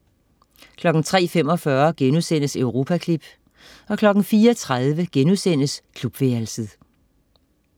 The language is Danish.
03.45 Europaklip* 04.30 Klubværelset*